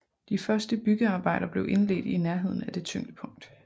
De første byggearbejder blev indledt i nærheden af det tyngdepunkt